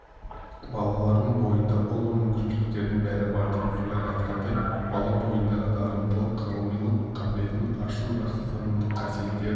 балалардың бойында ұлы мүмкіншіліктердің бәрі бар деп фуляр айтқандай бала бойындағы дарындылық ғылымилық қабілетін ашу жақсы танымдық қасиеттерін